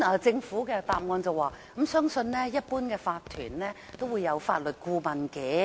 政府答覆指，他們相信一般法團都會有法律顧問。